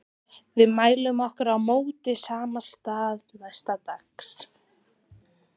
Við mæltum okkur mót á sama stað næsta dag.